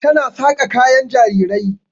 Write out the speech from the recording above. Ta na saƙa kayan jarirai.